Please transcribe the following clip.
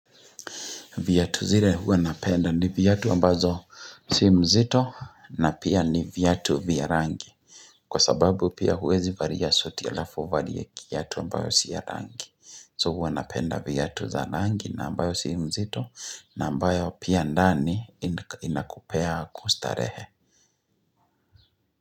Viatu zile huwa napenda ni viatu ambazo si mzito na pia ni viatu vya rangi. Kwa sababu pia huwezi varia suti alafu uvarie kiatu ambayo si ya rangi. So huwa napenda viatu za rangi na ambayo si mzito na ambayo pia ndani inakupea kustarehe.